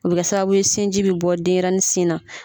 O bɛ kɛ sababu ye sinji bi bɔ denɲɛrɛnin sin na.